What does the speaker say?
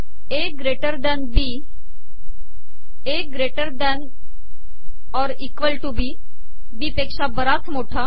A greater than B A greater than or equal to B B पेका बराच मोठा